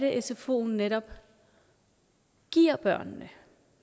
sfoen netop giver børnene